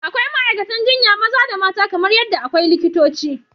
Akwai ma’aikatan jinya maza da mata kamar yadda akwai likitoci.